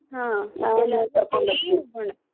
ಹಾ ಎಲ್ಲಾರ್ಗು ಹೋಗೋಣ.